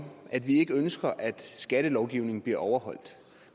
at vi ikke ønsker at skattelovgivningen bliver overholdt